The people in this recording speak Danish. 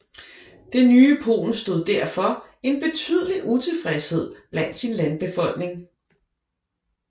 Det nye Polen stod derfor en betydelig utilfredshed blandt sin landbefolkning